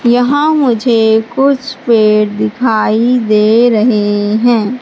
यहां मुझे कुछ पेड़ दिखाई दे रहे हैं।